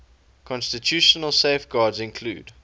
constitutional safeguards include